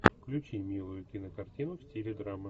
включи милую кинокартину в стиле драмы